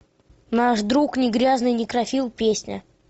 наш друг не грязный некрофил песня